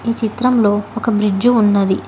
ఈ చిత్రంలో ఒక బ్రిడ్జ్ ఉన్నది.